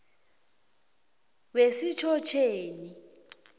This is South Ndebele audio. wesitjhotjheni